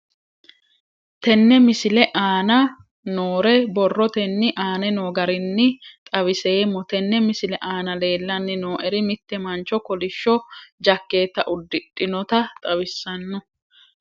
Tenne misile aana noore borrotenni aane noo garinni xawiseemmo. Tenne misile aana leelanni nooeri mitte mancho kollishsho jakeeta uddidhinota xawissanno.